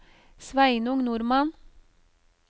Sveinung Normann